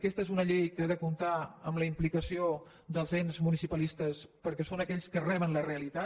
aquesta és una llei que ha de comptar amb la implicació dels ens municipalistes perquè són aquells que reben la realitat